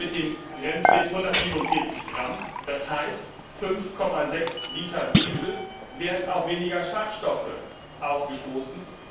Mit dem Grenzwert 147 g, das heißt 5,6 Liter Diesel, werden auch weniger Schadstoffe ausgestoßen.